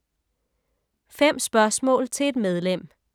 5 spørgsmål til et medlem